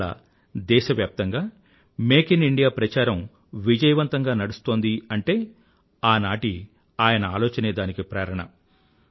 ఇవాళ దేశవ్యాప్తంగా make in India ప్రచారం విజయవంతంగా నడుస్తోంది అంటే ఆనాటి ఆయన ఆలోచనే దానికి ప్రేరణ